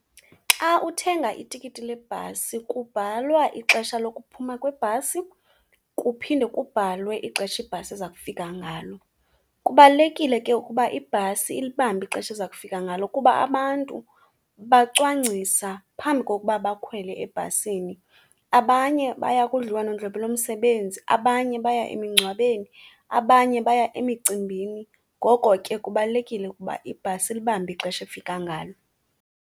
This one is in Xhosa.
Xa uthenga itikiti lebhasi kubhalwa ixesha lokuphuma kwebhasi kuphinde kubhalwe ixesha ibhasi eza kufika ngalo. Kubalulekile ke ukuba ibhasi ilibambe ixesha eza kufika ngalo kuba abantu bacwangcisa phambi kokuba bakhwele ebhasini. Abanye baya kudliwanondlebe lomsebenzi, abanye baya emingcwabeni, abanye baya emicimbini. Ngoko ke, kubalulekile ukuba ibhasi ilibambe ixesha efika ngalo.